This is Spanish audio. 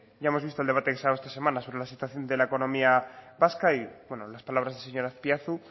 ya hemos visto el debate que se ha dado estas semanas sobre la situación de la economía vasca y las palabras del señor azpiazu